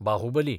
Baahubali